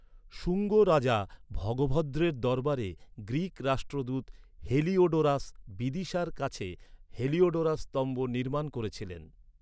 শুঙ্গ রাজা ভগভদ্রের দরবারে গ্রীক রাষ্ট্রদূত হেলিওডোরাস বিদিশার কাছে হেলিওডোরাস স্তম্ভ নির্মাণ করেছিলেন।